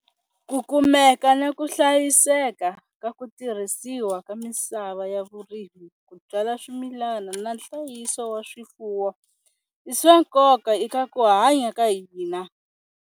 Ku kumeka na ku hlayiseka ka ku tirhisiwa ka misava ya vurimi ku byala swimilana na nhlayiso wa swifuwo i swa nkoka eka ku hanya ka hina.